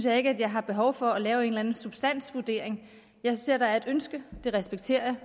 at jeg har behov for at lave en eller anden substansvurdering jeg ser at der er et ønske det respekterer